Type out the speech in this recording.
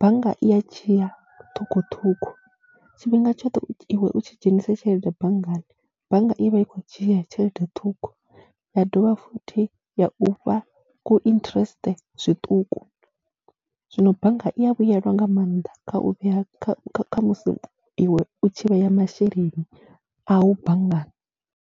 bannga i a dzhiya ṱhukhuṱhukhu. Tshifhinga tshoṱhe iwe u tshi dzhenisa tshelede banngani, bannga i vha i khou dzhia tshelede ṱhukhu ya dovha futhi ya u fha ku interest zwiṱuku, zwino bannga i ya vhuyelwa nga maanḓa kha u vhea kha musi iwe u tshi vhea masheleni au banngani.